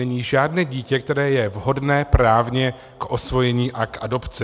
Není žádné dítě, které je vhodné právně k osvojení a k adopci.